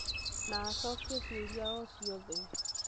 na acokie ciũria o ciothe